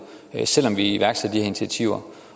selv om vi iværksætter de her initiativer